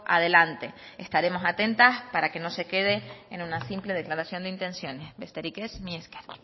adelante estaremos atentas para que no se quede en una simple declaraciones de intenciones besterik ez mila esker